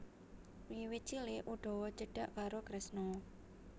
Wiwit cilik Udawa cedhak karo Kresna